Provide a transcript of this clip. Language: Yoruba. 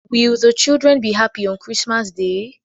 Will the children be happy on Christmas day?